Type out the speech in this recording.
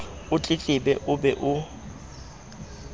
o tletlebe o be o